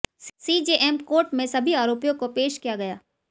CJM court में सभी आरोपियों को पेश किया गया